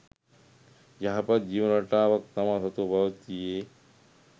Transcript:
යහපත් ජීවන රටාවක් තමා සතුව පැවතියේ